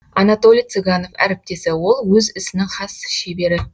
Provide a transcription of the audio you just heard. анатолий цыганов әріптесі ол өз ісінің хас шебері